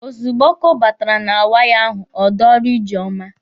Ozugbo ọkụ batara na waya ahụ, ọ dọrọ Ijeọma.